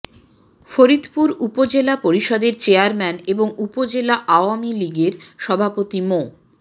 ফরিদপুর উপজেলা পরিষদের চেয়ারম্যান এবং উপজেলা আওয়ামী লীগের সভাপতি মো